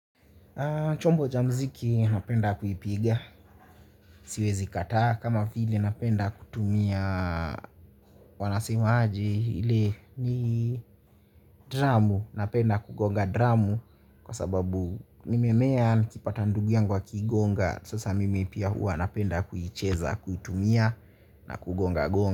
Chombo cha muziki ninapenda kuipiga siwezi kataa kama vile napenda kutumia wanasemaje ile ni dramu? Napenda kugonga dramu kwa sababu nimemea nikipata ndugu yangu akiigonga sasa mimi pia huwa napenda kuicheza, kuitumia na kugonga gonga.